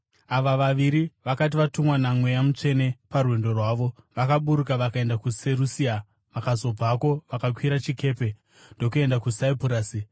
Ava vaviri vakati vatumwa naMweya Mutsvene parwendo rwavo, vakaburuka vakaenda kuSerusia, vakazobvako vakakwira chikepe ndokuenda kuSaipurasi.